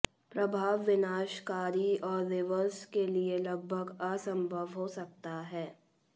प्रभाव विनाशकारी और रिवर्स के लिए लगभग असंभव हो सकता है